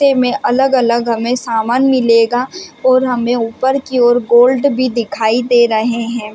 क्से में अलग अलग हमें सामान मिलेगा और हमें ऊपर की ओर गोल्ड भी दिखाई दे रहें हैं।